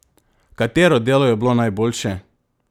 Katero delo je bilo najboljše?